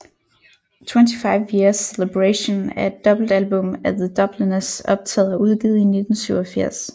25 Years Celebration er et dobbeltalbum af The Dubliners optaget og udgivet i 1987